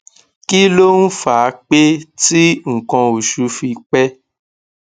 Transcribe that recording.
kí ló ń fa pẹ tí nkan oṣù fi pe